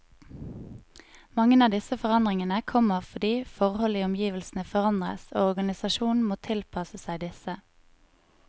Mange av disse forandringene kommer fordi forhold i omgivelsene forandres, og organisasjonen må tilpasse seg disse.